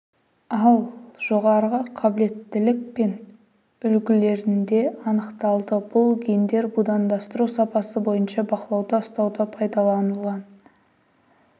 ал жоғарғы қабілеттілік пен үлгілерінде анықталды бұл гендер будандастыру сапасы бойынша бақылауда ұстауда пайдаланылған